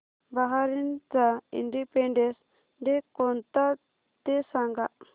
बहारीनचा Independence Day कोणता ते सांगा